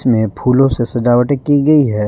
में फूलों से सजावटे की गई है।